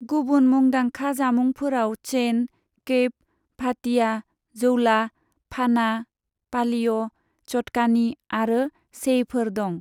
गुबुन मुंदांखा जामुंफोराव चेन, कैप, भाटिया, जौला, फाना, पालिय', चटकानी आरो सेईफोर दं।